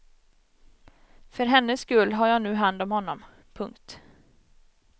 För hennes skull har jag nu hand om honom. punkt